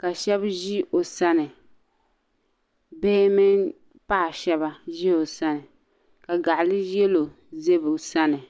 ka shɛba ʒi o sani bihi mini paɣ' shɛba ʒi o sani ka ɡaɣ' yɛlo za o sani